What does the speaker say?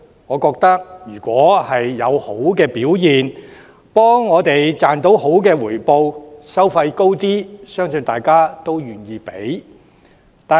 我認為，如果受託人表現理想，給我們賺取優厚回報，即使收費較貴，相信大家也願意支付。